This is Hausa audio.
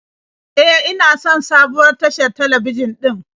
E, ina son sabuwar tashar talabijin din